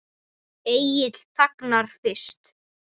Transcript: Egill þagnar fyrst.